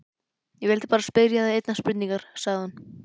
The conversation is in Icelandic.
Ég vildi bara spyrja þig einnar spurningar, sagði hún.